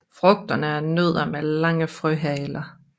Frugterne er nødder med lange frøhaler